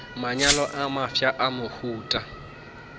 manyalo a mafsa a mohuta